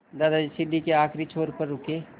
दादाजी सीढ़ी के आखिरी छोर पर रुके